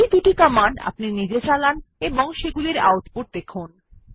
এই দুটি কমান্ড আপনি নিজে চালান এবং সেগুলির আউটপুট দেখুন